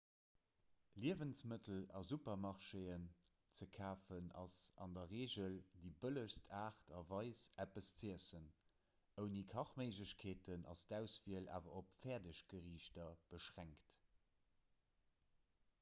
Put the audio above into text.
liewensmëttel a supermarchéen ze kafen ass an der regel déi bëllegst aart a weis eppes z'iessen ouni kachméiglechkeeten ass d'auswiel awer op fäerdeggeriichter beschränkt